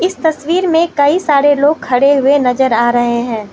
तसवीर में कइ सारे लोग खड़े नजर आ रहे हैं।